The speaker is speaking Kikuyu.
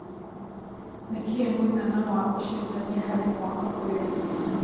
nĩ kĩ mũigana wa ũcejanĩa harĩ mũaka ũyũ